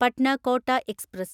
Patna Kota express